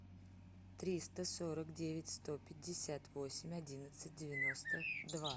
триста сорок девять сто пятьдесят восемь одиннадцать девяносто два